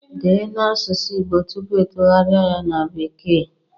Dee n'asusu Igbo tupu itugharia ya na bekee